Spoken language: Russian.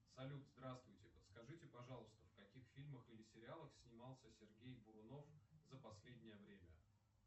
салют здравствуйте подскажите пожалуйста в каких фильмах или сериалах снимался сергей бурунов за последнее время